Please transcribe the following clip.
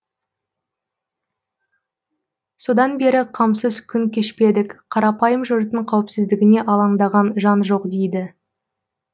содан бері қамсыз күн кешпедік қарапайым жұрттың қауіпсіздігіне алаңдаған жан жоқ дейді